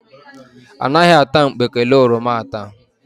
Anaghị ata mkpekele oroma ata